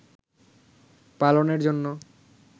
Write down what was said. পালনের জন্য